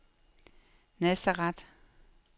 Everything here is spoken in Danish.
Nazareth